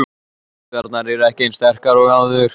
Taugarnar eru ekki eins sterkar og áður.